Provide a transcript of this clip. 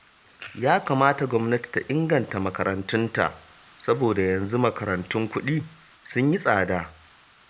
Ya kamata gwamnati ta inganta makarantunta, saboda yanzu makarantun kuɗi sun yi tsada